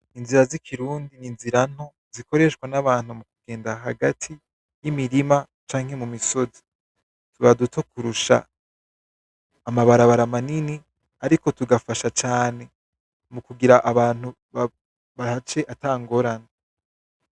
Inzira z'ikirundi ni inzira nto zikoreshwa n'abantu mu kugenda hagati y'imirima canke mu misozi tuba duto kurusha amabarabara manini ariko tugafasha cane mu kugira ngo abantu bahace ata ngorane.